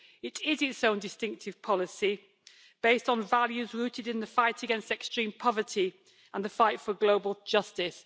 It is its own distinctive policy, based on values rooted in the fight against extreme poverty and the fight for global justice.